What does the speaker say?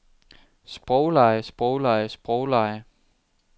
sproglege sproglege sproglege